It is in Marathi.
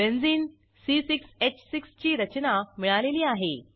बेंझिन ची रचना मिळालेली आहे